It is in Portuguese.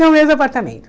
No mesmo apartamento.